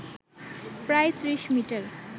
প্রায় ত্রিশ মিটার